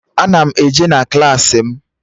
Ana m eje na Klassị m